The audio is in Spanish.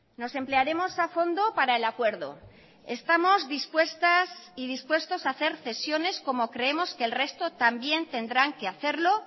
nos emplearemos a fondo para el acuerdo estamos dispuestas y dispuestos a hacer cesiones como creemos que el resto también tendrán que hacerlo